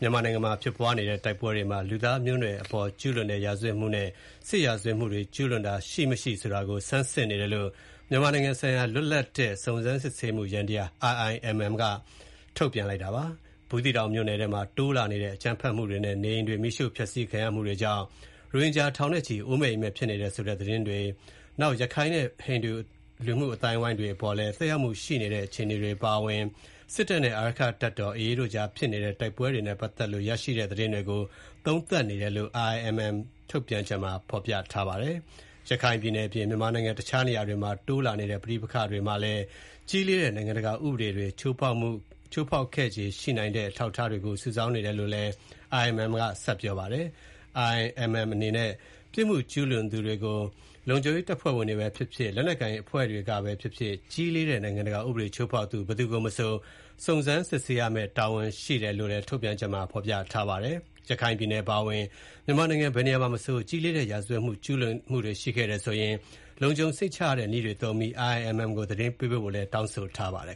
မြန်မာနိုင်ငံမှာ ဖြစ်ပွားနေတဲ့ တိုက်ပွဲတွေမှာ လူသားမျိုးနွယ်အပေါ်ကျူးလွန်တဲ့ ရာဇဝတ်မှုနဲ့ စစ်ရာဇဝတ်မှုတွေ ကျူးလွန်ခြင်း ရှိ မရှိဆိုတာကို ဆန်းစစ်နေတယ်လို့ မြန်မာနိုင်ငံဆိုင်ရာ လွတ်လပ်သော စုံစမ်းစစ်ဆေးမှု ယန္တရား IIMM ကထုတ်ပြန်ပါတယ်။ ဘူးသီးတောင်မြို့နယ်ထဲမှာ တိုးလာနေတဲ့ အကြမ်းဖက်မှုတွေနဲ့ နေအိမ်တွေ မီးရှို့ ဖျက်စီးခံရမှုတွေကြောင့် ရိုဟင်ဂျာ ထောင်နဲ့ချီ အိုးအိမ်မဲ့ ဖြစ်နေတယ်ဆိုတဲ့ သတင်းတွေ၊ ရခိုင်နဲ့ ဟိန္ဒူလူမှုအသိုင်းအဝိုင်းတွေအပေါ်လည်း သက်ရောက်မှုရှိနေတဲ့ အခြေအနေတွေအပါအဝင် စစ်တပ်နဲ့ အာရက္ခတပ်တော် AA တို့ကြားဖြစ်နေတဲ့ တိုက်ပွဲတွေနဲ့ပတ်သက်လို့ ရရှိတဲ့ သတင်းတွေကို သုံးသပ်နေတယ်လို့ IIMM ထုတ်ပြန်ချက်မှာ ပြောထားပါတယ်။ ရခိုင်ပြည်နယ်အပြင် မြန်မာနိုင်ငံ တခြားနေရာတွေမှာ တိုးလာနေတဲ့ ပဋိပက္ခတွေမှာလည်း ကြီးလေးတဲ့ နိုင်ငံတကာဥပဒေတွေ ချိုးဖောက်ခဲ့ခြေရှိနိုင်တဲ့ အထောက်အထားတွေကို စုဆောင်းနေတယ်လို့ IIMM ကပြောပါတယ်။ IIMM အနေနဲ့ ပြစ်မှုကျူးလွန်မှုတွေကို လုံခြုံရေးတပ်ဖွဲ့ဝင်တွေပဲဖြစ်ဖြစ်၊ လက်နက်ကိုင်အဖွဲ့တွေကပဲဖြစ်ဖြစ် ကြီးလေးတဲ့နိုင်ငံတကာ ဥပဒေချိုးဖောက်သူ ဘယ်သူကိုမဆို စုံစမ်းရမယ့် တာဝန်ရှိတယ်လို့လည်း ထုတ်ပြန်ချက်မှာ ဖော်ပြထားပါတယ်။ ရခိုင်ပြည်နယ်အပါအဝင် မြန်မာနိုင်ငံဘယ်နေရာမှာမဆို ကြီးလေးတဲ့ ရာဇဝတ်ကျူးလွန်မှုတွေရှိခဲ့တယ်ဆိုရင် လုံခြုံစိတ်ချရတဲ့နည်းတွေသုံးပြီး IIMM ကို သတင်းပေးဖို့လည်း တောင်းဆိုထားပါတယ်